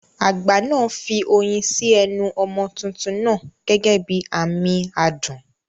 Àgbà náà fi oyin sí ẹnu ọmọ tuntun náà gẹ́gẹ́ bí àmì adùn.